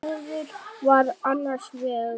Og þannig gufi hann upp?